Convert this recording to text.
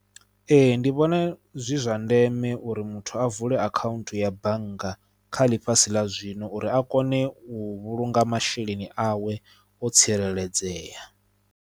Ee ndi vhona zwi zwa ndeme uri muthu a vule akhaunthu ya bannga kha ḽifhasi ḽa zwino uri a kone u vhulunga masheleni awe o tsireledzea.